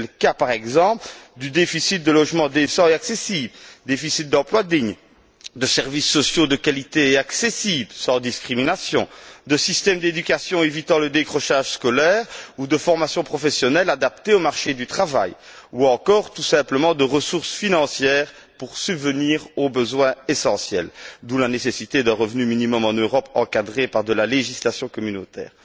C'est le cas, par exemple, du déficit de logements décents et accessibles, déficit d'emplois dignes, de services sociaux de qualité et accessibles, sans discrimination, de systèmes d'éducation évitant le décrochage scolaire ou de formations professionnelles adaptées au marché du travail ou encore, tout simplement, de ressources financières pour subvenir aux besoins essentiels, d'où la nécessité d'un revenu minimum en Europe encadré par une législation communautaire.